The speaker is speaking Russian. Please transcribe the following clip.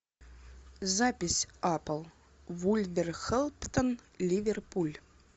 запись апл вулверхэмптон ливерпуль